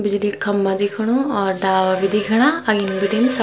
बिजली क खम्बा दिखणु और डाला भी दिखणा अगिन बिटिन सब।